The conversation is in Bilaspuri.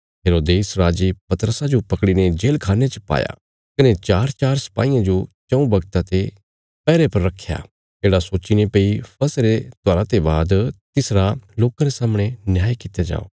हेरोदेस राजे पतरसा जो पकड़ीने जेलखान्ने च पाया कने चारचार सपाहियां जो चऊँ बगता ते पैहरे पर रखया येढ़ा सोच्चीने भई फसहा रे त्योहारा ते बाद तिस्सो लोकां रे सामणे न्याय कित्या जाओ